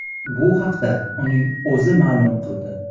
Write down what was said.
Bu haqda uning o‘zi ma’lum qildi .